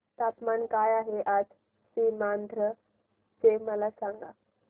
तापमान काय आहे आज सीमांध्र चे मला सांगा